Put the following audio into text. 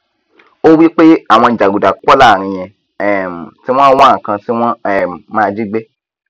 ó wípé àwọn jàgùdà pọ láàrin yẹn um tí wọn wá nkan tí wọn um máa jígbé